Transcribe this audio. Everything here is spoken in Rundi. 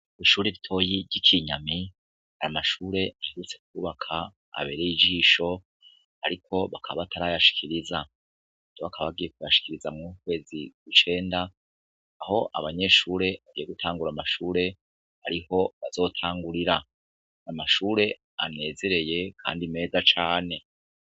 Ishure ritoya ry'i Kinyami amashure baherutse kwubaka abereye ijisho ariko bakaba batarayashikiriza. Rero bakaba bagiye kuyashikiriza mur'uku kwezi kw'icenda aho abanyeshure bagiye gutangura amashure ariho bazotangurira. Amashure anezereye kandi meza cane.